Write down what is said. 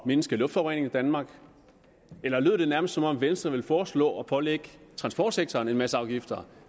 mindske luftforureningen i danmark eller lød det nærmest som om venstre vil foreslå at pålægge transportsektoren en masse afgifter